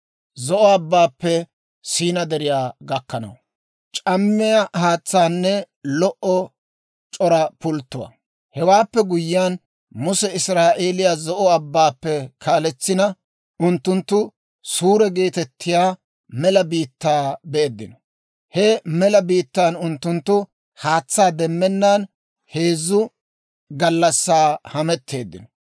Hewaappe guyyiyaan Muse Israa'eeliyaa Zo'o Abbaappe kaaletsina, unttunttu Suuri geetettiyaa mela biittaa beeddino. He mela biittaan unttunttu haatsaa demmennaan heezzu gallassaa hametteeddino.